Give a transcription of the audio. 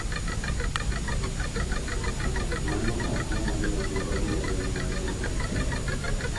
Mano ok nyal miyo kik odhi e lweny mar bedo jatelo.